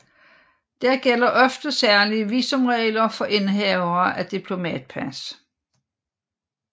Der gælder ofte særlige visumregler for indehavere af diplomatpas